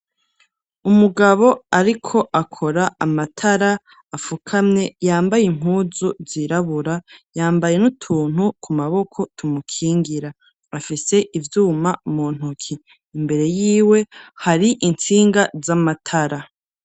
Umugabo ariko akora amatara afukamye yambaye impuzu zirabura, yambaye n'utuntu ku maboko tumukingira. Afise ivyuma mu ntuki imbere y'iwe hari intsinga z'amatara.